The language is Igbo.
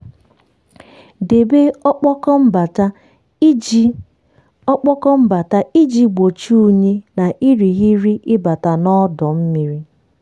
debe ọkpọkọ mbata iji ọkpọkọ mbata iji gbochie unyi na irighiri ịbata n'ọdọ mmiri.